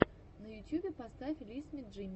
на ютьюбе поставь лиспи джимми